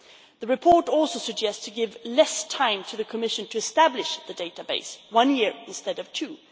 The report also suggests giving less time to the Commission to establish the database one year instead of two.